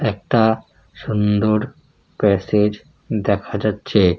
একটা সুন্দর প্যাসেজ দেখা যাচ্ছে।